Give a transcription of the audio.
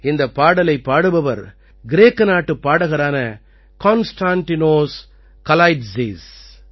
இந்தப் பாடலைப் பாடுபவர் கிரேக்க நாட்டுப் பாடகரான கான்ஸ்டாண்டினோஸ் கலாயிட்ஸிஸ் கான்ஸ்டான்டினோஸ் கலைட்ஸிஸ்